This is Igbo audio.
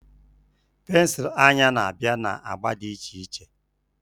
Pensụl anya na-abịa na agba dị iche iche